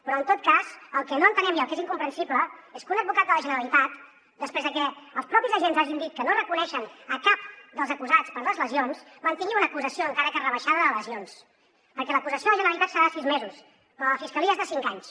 però en tot cas el que no entenem i el que és incomprensible és que un advocat de la generalitat després de que els propis agents hagin dit que no reconeixen cap dels acusats per les lesions mantingui una acusació encara que rebaixada de lesions perquè l’acusació de la generalitat serà de sis mesos però la de la fiscalia és de cinc anys